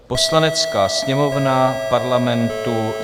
Poslanecká sněmovna Parlamentu: